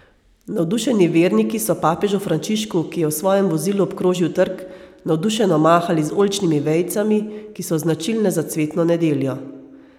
Navdušeni verniki so papežu Frančišku, ki je v svojem vozilu obkrožil trg, navdušeno mahali z oljčnimi vejicami, ki so značilne za cvetno nedeljo.